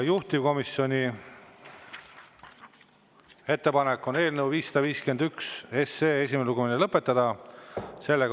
Juhtivkomisjoni ettepanek on eelnõu 551 esimene lugemine lõpetada.